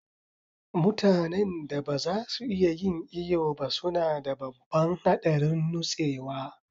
Mutanen da ba za su iya yin iyo ba suna da babban haɗarin nutsewa.